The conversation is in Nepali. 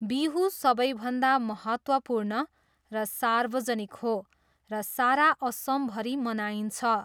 बिहू सबैभन्दा महत्त्वपूर्ण र सार्वजनिक हो र सारा असमभरि मनाइन्छ।